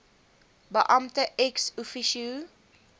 beampte ex officio